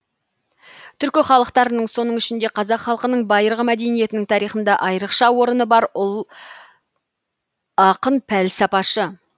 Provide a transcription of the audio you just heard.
түркі халықтарының соның ішінде қазақ халқының байырғы мәдениетінің тарихында айырықша орыны бар ұл ақын пәлсапашы